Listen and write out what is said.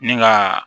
Ni ka